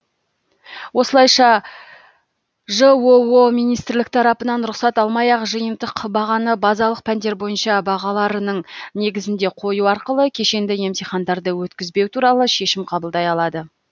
осылайша жоо министрлік тарапынан рұқсат алмай ақ жиынтық бағаны базалық пәндер бойынша бағаларының негізінде қою арқылы кешенді емтихандарды өткізбеу туралы шешім қабылдай алады